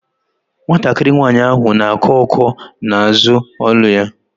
Nwatakịrị nwaanyị ahụ na-akọ ọ́kọ́ na-azụ olu ya.